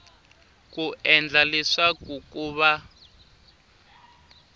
ku endla leswaku ku va